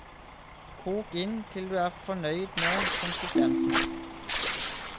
Kok inn til du er fornøyd med konsistensen.